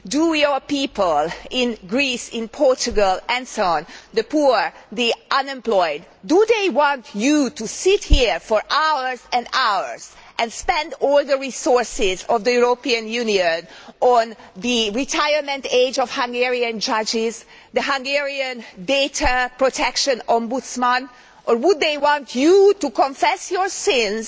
Do your people in Greece, in Portugal and so on, the poor, the unemployed, want you to sit here for hours and hours and spend all the resources of the European Union on discussing the retirement age of Hungarian judges and the Hungarian data protection ombudsman, or would they want you to confess your sins?